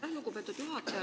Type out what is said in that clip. Aitäh, lugupeetud juhataja!